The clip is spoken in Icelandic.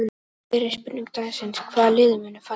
Fyrri spurning dagsins: Hvaða lið munu falla?